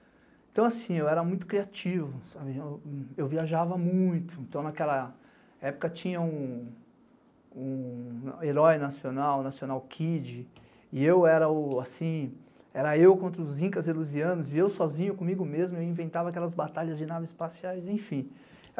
Então assim, eu era muito criativo, eu viajava muito, então naquela época tinha um herói nacional, o nacional Kid, e eu era o, assim, era eu contra os incas elusianos, e eu sozinho comigo mesmo, eu inventava aquelas batalhas de naves espaciais, enfim.